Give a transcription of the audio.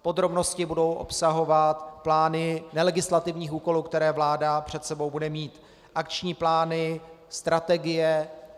Podrobnosti budou obsahovat plány nelegislativních úkolů, které vláda před sebou bude mít, akční plány, strategie.